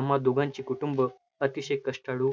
आम्हा दोघांची कुटुंब अतिशय कष्टाळू